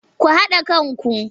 Ku haɗa kanku!